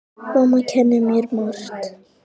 Mamma kenndi mér margt.